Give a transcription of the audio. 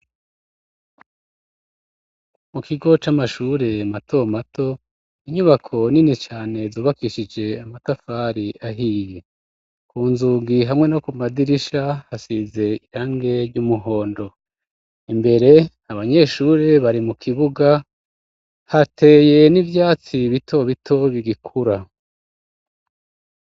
Mu kigo c'amashure mato mato, inyubako nini cane zubakishije amatafari ahiye. Ku nzugi hamwe no ku madirisha hasize irangi ry'umuhondo. Imbere, abanyeshuri bari mu kibuga, hateye n'ivyatsi bito bito bigikura.